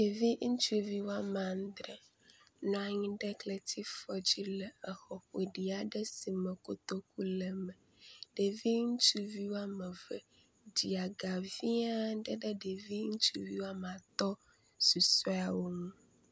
Ɖevi ŋutsuvi womea adre nɔ anyi ɖe kletifɔ aɖe dzile xɔ ƒoɖi aɖe si me kotoku le me, ɖevi ŋustuvi womeve ɖe aga vi aɖe ɖe ɖevi ŋutsuvi womeatɔ̃ susueawo ŋu